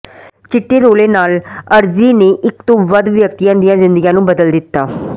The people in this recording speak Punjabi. ਚਿੱਟੇ ਰੌਲੇ ਨਾਲ ਅਰਜ਼ੀ ਨੇ ਇਕ ਤੋਂ ਵੱਧ ਵਿਅਕਤੀਆਂ ਦੀਆਂ ਜ਼ਿੰਦਗੀਆਂ ਨੂੰ ਬਦਲ ਦਿੱਤਾ